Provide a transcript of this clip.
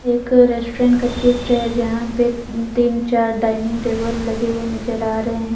एक रेस्टोरेंट का चित्र है जहां पर तीन चार डाइनिंग टेबल लगे हुए नजर आ रहे है।